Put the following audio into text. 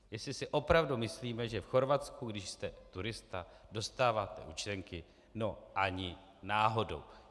Jestli si opravdu myslíme, že v Chorvatsku, když jste turista, dostáváte účtenky, no ani náhodou!